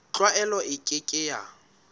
tlwaelo e ke ke ya